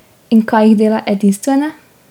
In kaj jih dela edinstvene?